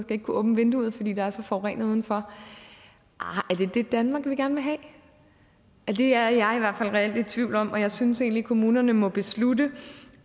skal kunne åbne vinduet fordi der er så forurenet udenfor arh er det det danmark vi gerne vil have ja det er jeg reelt i tvivl om og jeg synes egentlig kommunerne må beslutte